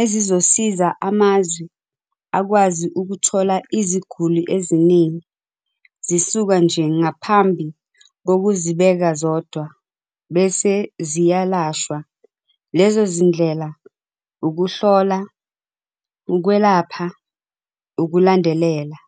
ezizosiza amazwe akwazi ukuthola iziguli eziningi zisuka nje ngaphambi kokuzibeka zodwa bese ziyalashwa, lezo zindlela, ukuhlola, ukwelapha, ukulandelela.